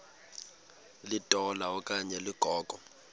litola okanye ligogo